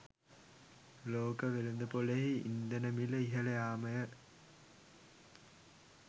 ලෝක වෙළෙඳ‍පොලෙහි ඉන්ධන මිල ඉහළ යාමය.